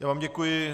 Já vám děkuji.